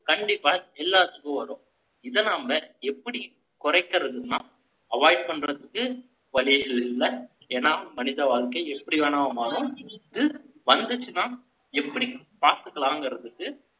கண்டிப்பா எல்லாத்துக்கும் வரும். இதை நாம, எப்படி குறைக்கிறதுன்னா, avoid பண்றதுக்கு, வழியே ல்லை. ஏன்னா, மனித வாழ்க்கை, எப்படி வேணா மாறும். இது வந்துச்சுன்னா, எப்படி பார்த்துக்கலாம்ங்கிறதுக்கு,